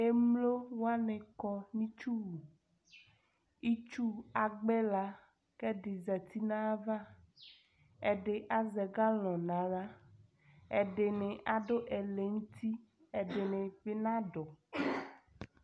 Emlowanɩ kɔ nʊ itsuwu itsʊ agbɩla kʊ ɛdi zatɩ nʊ ayava ɛdɩ azɛ galɔnɩ nʊ axla ɛdɩnɩ adu ɛlɛnʊtɩ kʊ ɛdɩnɩ nadʊ